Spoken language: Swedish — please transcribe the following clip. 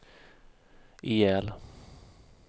ihjäl